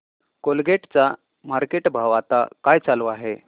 Colgate चा market भाव आता काय चालू आहे